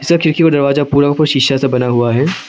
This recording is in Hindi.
इसका खिड़की और दरवाजा पूरा शीशा से बना हुआ है।